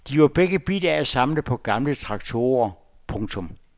De var begge bidt af at samle på gamle traktorer. punktum